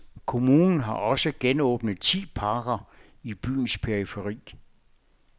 Kommunen har også genåbnet ti parker i byens periferi.